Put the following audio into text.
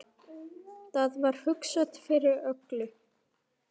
Það var hugsað fyrir öllu.